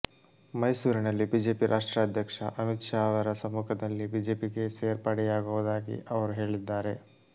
ಮೈಸೂರಿನಲ್ಲಿ ಬಿಜೆಪಿ ರಾಷ್ಟ್ರಾಧ್ಯಕ್ಷ ಅಮಿತ್ ಶಾ ಅವರ ಸಮ್ಮುಖದಲ್ಲಿ ಬಿಜೆಪಿಗೆ ಸೇರ್ಪಡೆಯಾಗುವುದಾಗಿ ಅವರು ಹೇಳಿದ್ದಾರೆ